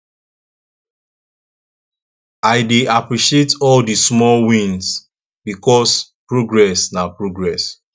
i dey appreciate all di small wins bikos progress na progress